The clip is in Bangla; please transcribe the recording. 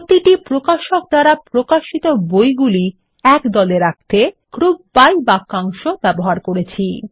প্রতিটি প্রকাশক দ্বারা প্রকাশিত বইগুলি একদলে রাখতে গ্রুপ বাই বাক্যাংশ ব্যবহার করছি